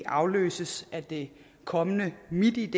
afløses af det kommende mitid